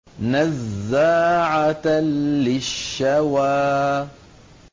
نَزَّاعَةً لِّلشَّوَىٰ